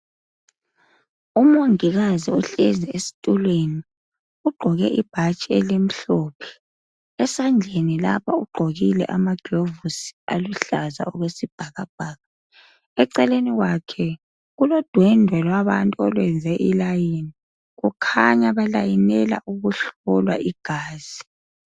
Umongikazi ohlezi esitulweni. Ugqoke ibhatshi elimhlophe. Esandleni lapha ,ugqokile amaglovusi aluhlaza okwesibhakabhaka. Eceleni kwakhe kulodwendwe labantu olwenze ilayini. Kukhanya balayinela ukuhlolwa igazi.